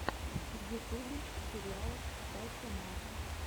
в ютубе сериал стася мар